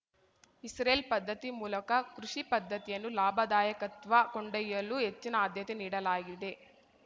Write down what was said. Israel ಪದ್ದತಿ ಮೂಲಕ ಕೃಷಿ ಪದ್ದತಿಯನ್ನು ಲಾಭದಾಯಕತ್ವ ಕೊಂಡೊಯ್ಯಲು ಹೆಚ್ಚಿನ ಆದ್ಯತೆ ನೀಡಲಾಗಿದೆ